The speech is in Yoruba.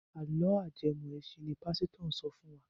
Àlọ́ ajẹmọ́-ẹ̀sìn ni pásítọ̀ ń sọ fún wa.